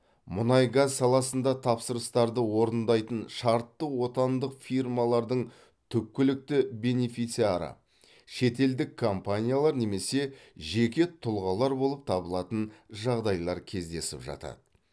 мұнай газ саласында тапсырыстарды орындайтын шартты отандық фирмалардың түпкілікті бенефициары шетелдік компаниялар немесе жеке тұлғалар болып табылатын жағдайлар кездесіп жатады